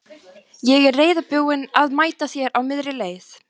Ég er reiðubúinn að mæta þér á miðri leið.